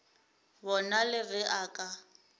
bona le ge a ka